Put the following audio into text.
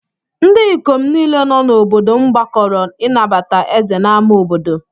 Ndị ikom niile nọ n’obodo m gbakọrọ ịnabata ézè n’ámá obodo.